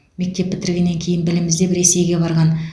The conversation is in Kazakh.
мектеп бітіргеннен кейін білім іздеп ресейге барған